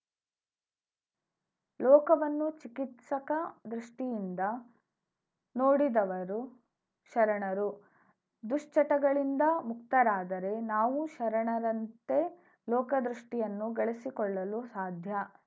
ಲೋಕವನ್ನು ಚಿಕಿತ್ಸಕ ದೃಷ್ಟಿಯಿಂದ ನೋಡಿದವರು ಶರಣರು ದುಶ್ಚಟಗಳಿಂದ ಮುಕ್ತರಾದರೆ ನಾವೂ ಶರಣರಂತೆ ಲೋಕದೃಷ್ಟಿಯನ್ನು ಗಳಿಸಿಕೊಳ್ಳಲು ಸಾಧ್ಯ